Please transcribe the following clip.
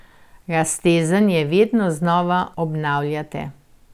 Raztezanje vedno znova obnavljajte.